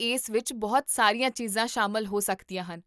ਇਸ ਵਿੱਚ ਬਹੁਤ ਸਾਰੀਆਂ ਚੀਜ਼ਾਂ ਸ਼ਾਮਲ ਹੋ ਸਕਦੀਆਂ ਹਨ